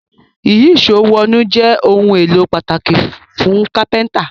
Ìyíṣòó wọnú jé òun èló pàtàkì fún kápẹ́ńtà